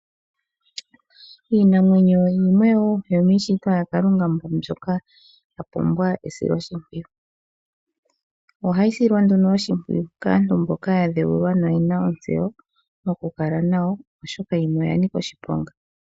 Iinamwenyo yimwe woo yomiishitwa yaKalunga mbyoka ya pumbwa esiloshimpwiyu. Ohayi silwa nduno oshimpwiyu kaantu mboka ya dheulwa noye na ontseyo okukala nayo, oshoka yimwe oya nika oshiponga.